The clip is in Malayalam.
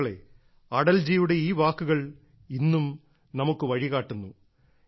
സുഹൃത്തുക്കളേ അടൽജിയുടെ ഈ വാക്കുകൾ ഇന്നും നമുക്ക് വഴി കാട്ടുന്നു